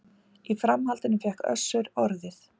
Í framhaldinu fékk Össur orðið